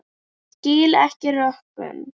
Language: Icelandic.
Skil ekki rökin.